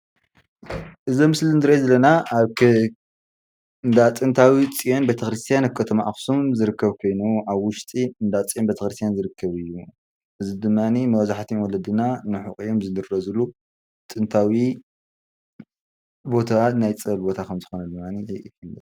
እዚ ኣብ ምስሊ እንሪኦ ዘለና ኣብ እንዳ ጥንታዊ ፅዮን ቤተ ኽርስትያን ኣብ ከተማ ኣክሱም ዝርከብ ኮይኑ ኣብ ውሽጢ እንዳ ፅዮን ቤተኽርስትያን ዝርከብ እዩ። እዚ ድማኒ መብዛሕትኦም ወለድና ንሕቁኦም ዝድረዝሉ ጥንታዊ ቦታ ናይ ፀበል ቦታ ከምዝኾነ ድማኒ